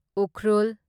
Ukhrul